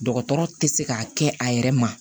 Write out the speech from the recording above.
Dɔgɔtɔrɔ tɛ se k'a kɛ a yɛrɛ ma